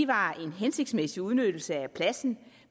var en hensigtsmæssig udnyttelse af pladsen